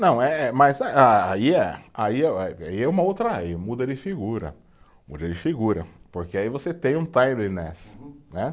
Não eh, mas aí ah, aí eh, aí é uma outra, aí muda de figura, muda de figura, porque aí você tem um timeliness, né?